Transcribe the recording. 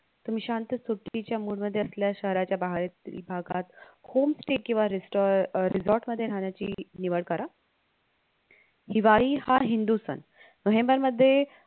तुम्ही शांत सुट्टीच्या mood मध्ये असल्यास शहराच्या बाहेरील भागात homestay किंवा रेस्टा अह resort मध्ये राहण्याची निवड करा हिवाळी हा हिंदू सण नोव्हेंम्बर मध्ये